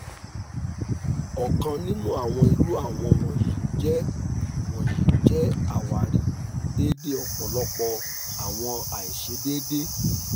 ọkan ninu awọn iru awọn wọnyi jẹ wọnyi jẹ awari deede ọpọlọpọ awọn aiṣedede